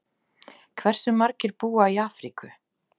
Hversu margir búa í Afríku?